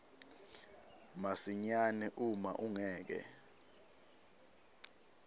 masinyane uma ungeke